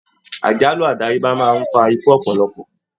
Àjálù adayeba máa n fà ikú ọpọlọpọ.